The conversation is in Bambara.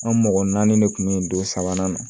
An mɔgɔ naani de kun be yen don sabanan na